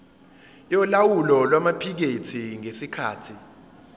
yolawulo lwamaphikethi ngesikhathi